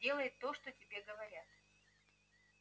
делай то что тебе говорят